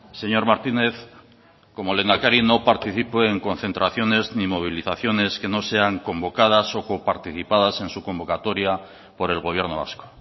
señor martínez como lehendakari no participo en concentraciones ni movilizaciones que no sean convocadas o coparticipadas en su convocatoria por el gobierno vasco